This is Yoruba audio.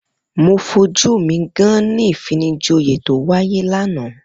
Mo fojú mi gán-án-ní ìfinijoyè tó wáyé lánàá.